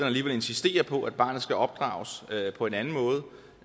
alligevel insisterede på at barnet skulle opdrages på en anden måde